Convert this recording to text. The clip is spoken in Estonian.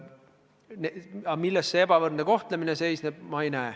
Aga milles siin ebavõrdne kohtlemine seisneb, seda ma ei mõista.